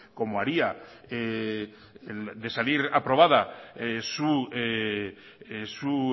como haría de salir aprobada su